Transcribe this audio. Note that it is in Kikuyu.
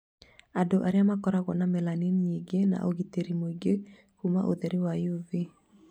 Andũ airũ makoragwao na melanin nyingĩ na ũgitĩri mũingĩ kuma ũtheri wa UV